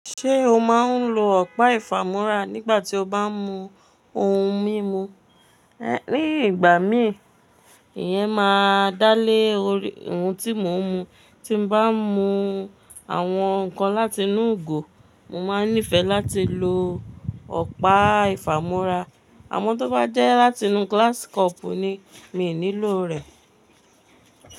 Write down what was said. Ṣé o máa ń lo ọ̀pá ìfàmúrà nígbà tí o bá ń mu ohun mímu? Nígbà mí iyẹn máa dálé orí ohun tí mo ń mu. Tí mo bá ń mu àwọn nǹkan láti inú ìgò, mo máa nífẹ̀ẹ́ láti lo ọ̀pá ìfàmúrà. Àmọ́ tó bá jẹ́ láti inú glass cup ni mi ò nílò rẹ̀.